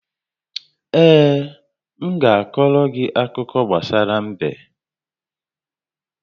Ee, m ga-akọrọ gị akụkọ gbasara m̀bé